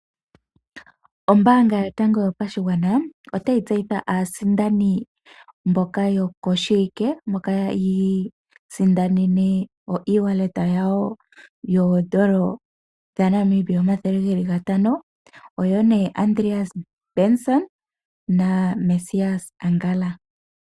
Ombaanga yotango yopashigwana otayi tseyitha aasindani mboka yokoshiwike mboka yi isindanene oshimaliwa shawo shoondola omathele geli gatano. Oyo nee Andreas Benson na Mesias Angala